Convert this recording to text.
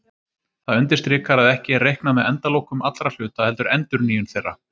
Það undirstrikar að ekki er reiknað með endalokum allra hluta heldur endurnýjun þeirra.